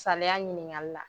Saliya ɲiniŋali la